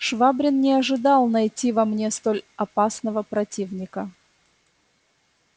швабрин не ожидал найти во мне столь опасного противника